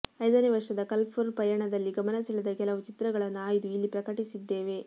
ಐದನೇ ವರ್ಷದ ಕಲರ್ಫುಲ್ ಪಯಣದಲ್ಲಿ ಗಮನ ಸೆಳೆದ ಕೆಲವು ಚಿತ್ರಗಳನ್ನು ಆಯ್ದು ಇಲ್ಲಿ ಪ್ರಕಟಿಸಿದ್ದೇವೆ